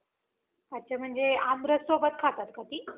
अच्छा म्हणजे आमरस सोबत खातात का ती?